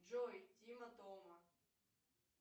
джой тима тома